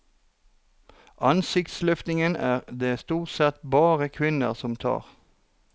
Ansiktsløftninger er det stort sett bare kvinner som tar.